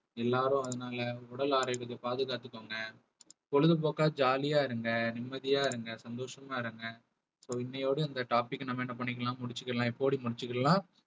எல்லாரும் அதனால உடல் ஆரோக்கியத்தை பாதுகாத்துக்கோங்க பொழுதுபோக்கா jolly யா இருங்க நிம்மதியா இருங்க சந்தோஷமா இருங்க so இன்னையோட இந்த topic அ நம்ம என்ன பண்ணிக்கலாம் முடிச்சுக்கலாம் முடிச்சிக்கலாம்